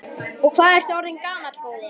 Og hvað ertu orðinn gamall, góði?